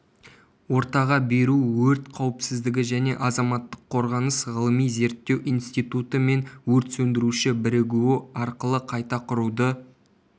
ортаға беру өрт қауіпсіздігі және азаматтық қорғаныс ғылыми-зерттеу институты мен өртсөндіруші бірігуі арқылы қайта құруды